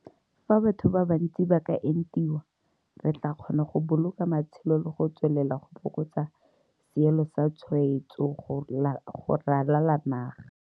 Fa batho ba bantsi ba ka entiwa, re tla kgona go boloka matshelo le go tswelela go fokotsa seelo sa tshwaetso go ralala naga.